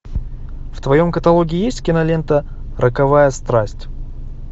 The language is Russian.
в твоем каталоге есть кинолента роковая страсть